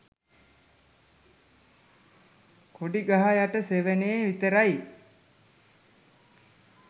"කොඩි ගහ යට සෙවනේ" විතරයි